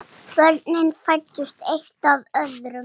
Börnin fæddust eitt af öðru.